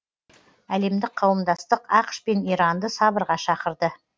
әлемдік қауымдастық ақш пен иранды сабырға шақырды